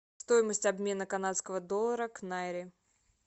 стоимость обмена канадского доллара к найре